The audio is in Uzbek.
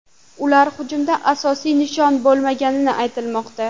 Ular hujumda asosiy nishon bo‘lmagani aytilmoqda.